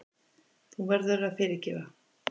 Þú verður að fyrirgefa.